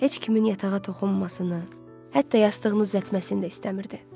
Heç kimin yatağa toxunmasını, hətta yastığını düzəltməsini də istəmirdi.